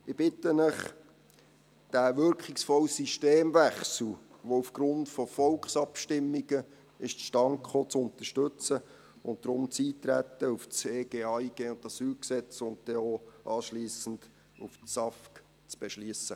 Ich bitte Sie, diesen wirkungsvollen Systemwechsel, der aufgrund von Volksabstimmungen zustande kam, zu unterstützen und deshalb das Eintreten auf das EG AIG und AsylG sowie anschliessend auch auf das SAFG zu beschliessen.